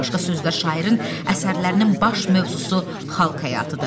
Başqa sözlər şairin əsərlərinin baş mövzusu xalq həyatıdır.